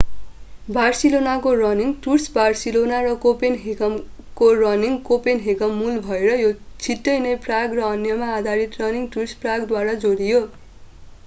बार्सिलोनाको running tours Barcelona र कोपेनहेगनको running Copenhagen मूल भएर यो छिट्टै नै प्राग र अन्यमा आधारित रनिङ टुर्स प्रागद्वारा जोडियो